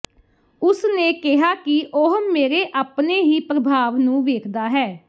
ਉਸ ਨੇ ਕਿਹਾ ਕਿ ਉਹ ਮੇਰੇ ਆਪਣੇ ਹੀ ਪ੍ਰਭਾਵ ਨੂੰ ਵੇਖਦਾ ਹੈ